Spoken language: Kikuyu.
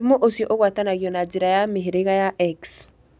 Mũrimũ ũcio ũgwatanagio na njĩra ya mĩhĩrĩga ya X.